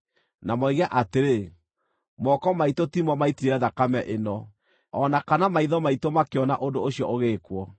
na moige atĩrĩ, “Moko maitũ timo maaitire thakame ĩno, o na kana maitho maitũ makĩona ũndũ ũcio ũgĩĩkwo.